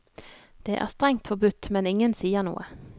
Det er strengt forbudt, men ingen sier noe.